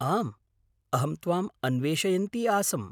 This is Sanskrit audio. आम्, अहं त्वाम् अन्वेषयन्ती आसम्।